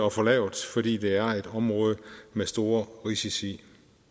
at få lavet fordi det er et område med store risici